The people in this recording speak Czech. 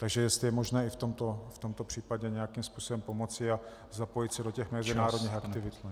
Takže jestli je možné i v tomto případě nějakým způsobem pomoci a zapojit se do těch mezinárodních aktivit.